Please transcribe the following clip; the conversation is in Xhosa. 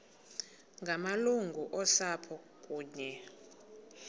ngamalungu osapho kunye